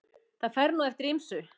Það fer nú eftir ýmsu.